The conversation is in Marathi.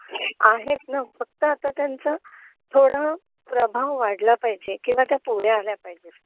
आहेत ना फक्त आता त्यांचा थोडा प्रभाव वाढला पाहिजे किंवा त्या पुढे आल्या पाहिजेत